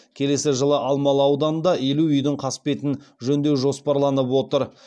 келесі жылы алмалы ауданында елу үйдің қасбетін жөндеу жоспарланып отыр